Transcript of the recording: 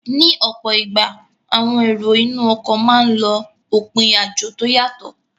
Ní ọ̀pọ̀ ìgbà, àwọn èrò inú ọkọ̀ máa n lọ òpin àjò tó yàtọ